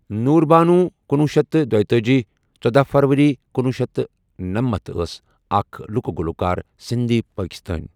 نور بانو کُنۄہُ شیتھ تہٕ دیِتأجی، ژودہَ فروٕری کُنۄہُ شیتھ تہٕ ٔنمنتَھ ٲس اَکھ لُکہٕ گلوکار سِندھی، پٲکستٲنۍ۔